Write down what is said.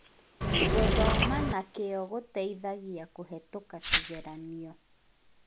Gũthoma na kĩo kũteithagĩa kũhĩtũka kĩgeranio